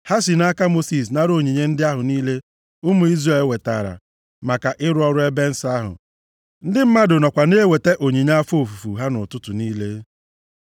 Ha si nʼaka Mosis nara onyinye ndị ahụ niile ụmụ Izrel wetara maka ịrụ ọrụ ebe nsọ ahụ. Ndị mmadụ nọkwa na-eweta onyinye afọ ofufu ha ụtụtụ niile.